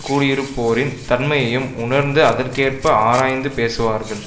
கூடியிருப்போரின் தன்மையையும் உணர்ந்து அதற்கேற்ப ஆராய்ந்து பேசுவார்கள்